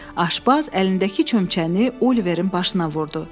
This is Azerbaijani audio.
Aşbaz əlindəki çömçəni Oliverin başına vurdu.